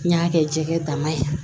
N y'a kɛ jɛgɛ dama ye